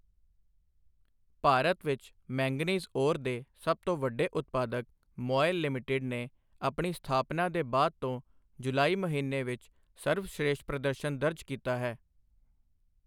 ਭਾਰਤ ਵਿੱਚ manganese ore ਦੇ ਸਭ ਤੋਂ ਵੱਡੇ ਉਦਪਾਦਕ ਮੌਇਲ ਲਿਮਿਟਿਡ ਨੇ ਆਪਣੀ ਸਥਾਪਨਾ ਦੇ ਬਾਅਦ ਤੋਂ ਜੁਲਾਈ ਮਹੀਨੇ ਵਿੱਚ ਸਰਬਸ਼੍ਰੇਸ਼ਠ ਪ੍ਰਦਰਸ਼ਨ ਦਰਜ ਕੀਤਾ ਹੈ।